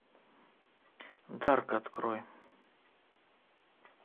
дарк открой